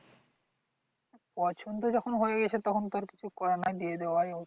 পছন্দ যখন হয়ে গেছে তখন তো আর কিছু করার নাই দিয়ে দেওয়ায় ভালো।